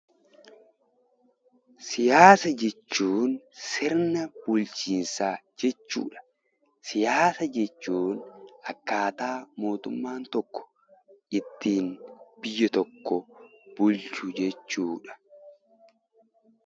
Siyaasa jechuun sirna bulchiinsaa jechuu dha. Siyaasa jechuun akkaataa mootummaan tokko ittiin biyya tokko bulchu jechuu dha.